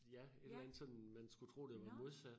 Ja et eller andet sådan man skulle tro det var modsat